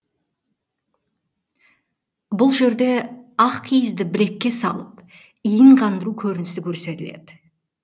бұл жерде ақ киізді білекке салып иін қандыру көрінісі көрсетіледі